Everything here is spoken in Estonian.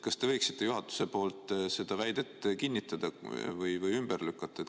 Kas te võiksite juhatuse nimel seda väidet kinnitada või ümber lükata?